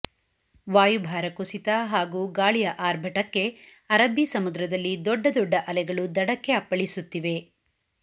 ವಾಯುಭಾರ ಕುಸಿತ ಹಾಗೂ ಗಾಳಿಯ ಆರ್ಭಟಕ್ಕೆ ಅರಬ್ಬಿ ಸಮುದ್ರದಲ್ಲಿ ದೊಡ್ಡ ದೊಡ್ಡ ಅಲೆಗಳು ದಡಕ್ಕೆ ಅಪ್ಪಳಿಸುತ್ತಿವೆ